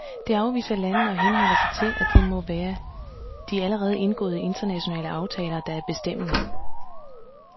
Det afviser Ilandene og henholder sig til, at det må være de allerede indgåede internationale aftaler, der er bestemmende.